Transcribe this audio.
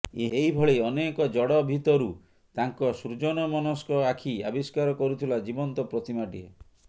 ଏଇଭଳି ଅନେକ ଜଡ଼ ଭିତରୁ ତାଙ୍କ ସୃଜନମନସ୍କ ଆଖି ଆବିଷ୍କାର କରୁଥିଲା ଜୀବନ୍ତ ପ୍ରତିମାଟିଏ